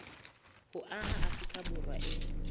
ho aha afrika borwa e